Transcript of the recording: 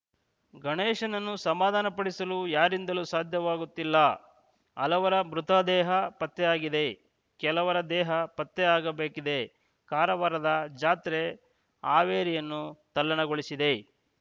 ಗಣೇಶನನ್ನು ಸಮಾಧಾನ ಪಡಿಸಲು ಯಾರಿಂದಲೂ ಸಾಧ್ಯವಾಗುತ್ತಿಲ್ಲ ಹಲವರ ಮೃತದೇಹ ಪತ್ತೆಯಾಗಿದೆ ಕೆಲವರ ದೇಹ ಪತ್ತೆಯಾಗಬೇಕಿದೆ ಕಾರವಾರದ ಜಾತ್ರೆ ಹಾವೇರಿಯನ್ನೂ ತಲ್ಲಣಗೊಳಿಸಿದೆ